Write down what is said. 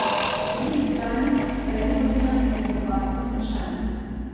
Po drugi strani pa je ni hotela nadlegovati z vprašanji.